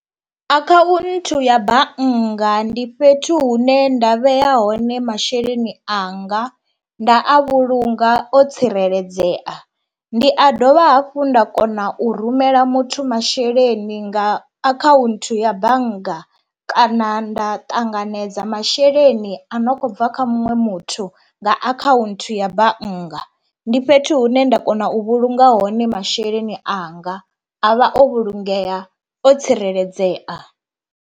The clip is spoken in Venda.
Akhaunthu ya bannga ndi fhethu hune nda vhea hone masheleni anga nda a vhulunga o tsireledzea, ndi a dovha hafhu nda kona u rumela muthu masheleni nga akhaunthu ya bannga kana nda ṱanganedza masheleni a no kho bva kha muṅwe muthu nga akhaunthu ya bannga. Ndi fhethu hune nda kona u vhulunga hone masheleni anga avha o vhulungea o tsireledzea.